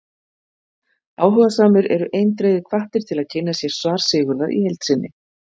Áhugasamir eru eindregið hvattir til að kynna sér svar Sigurðar í heild sinni.